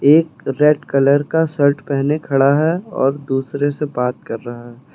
एक red colour का shirt पहने खड़ा है और दूसरे से बात कर रहा है।